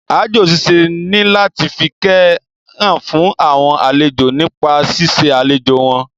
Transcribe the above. Aájò ṣiṣẹ́ ní láti fi ìkẹ́ hàn fún àwọn àlejò nípa ṣíṣe àlejò wọn